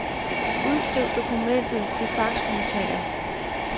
Udskriv dokumentet til faxmodtager.